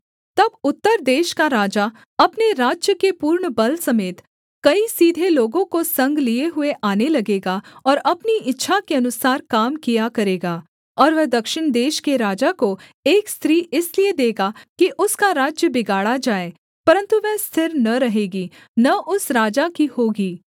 तब उत्तर देश का राजा अपने राज्य के पूर्ण बल समेत कई सीधे लोगों को संग लिए हुए आने लगेगा और अपनी इच्छा के अनुसार काम किया करेगा और वह दक्षिण देश के राजा को एक स्त्री इसलिए देगा कि उसका राज्य बिगाड़ा जाए परन्तु वह स्थिर न रहेगी न उस राजा की होगी